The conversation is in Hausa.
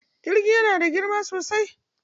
Jirgi yana da girma sosai.